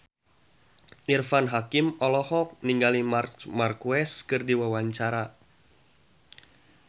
Irfan Hakim olohok ningali Marc Marquez keur diwawancara